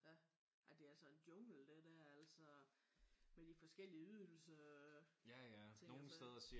Ja ej det er altså en jungle det der altså med de forskellige ydelser og ting og sager